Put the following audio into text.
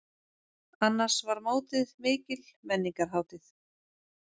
Annars var mótið mikil menningarhátíð.